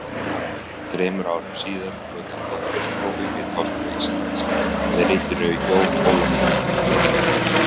Þremur árum síðar lauk hann doktorsprófi við Háskóla Íslands með ritinu Jón Ólafsson frá Grunnavík.